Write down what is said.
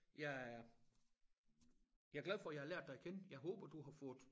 Jeg er jeg er glad for jeg har lært dig at kende jeg håber du har fået